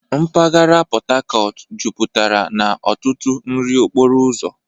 Mpaghara Port Harcourt jupụtara na ọtụtụ nri okporo ụzọ.